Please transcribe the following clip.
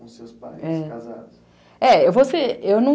é,